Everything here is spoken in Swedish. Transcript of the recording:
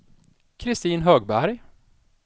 Kristin Högberg